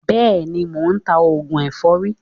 Béèni, mò ń ta oògùn èfọ́rí.